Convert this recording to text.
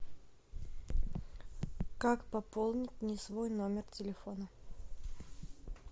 как пополнить не свой номер телефона